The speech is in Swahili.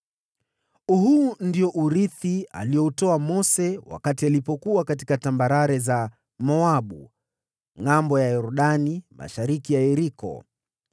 Huu ndio urithi alioupeana Mose wakati alipokuwa katika tambarare za Moabu, ngʼambo ya Yordani mashariki mwa Yeriko.